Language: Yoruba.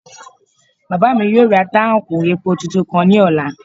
Bàbá mi yóò ra táùnkì epo tuntun kan ní ọ̀la